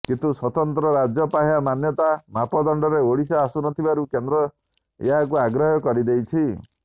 କିନ୍ତୁ ସ୍ୱତନ୍ତ୍ର ରାଜ୍ୟ ପାହ୍ୟା ମାନ୍ୟତା ମାପଦଣ୍ଡରେ ଓଡ଼ିଶା ଆସୁନଥିବାରୁ କେନ୍ଦ୍ର ଏହାକୁ ଅଗ୍ରାହ୍ୟ କରିଦେଇଛି